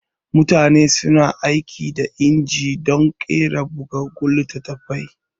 Mutane suna aiki da inji dun ƙera bugaggun littatafai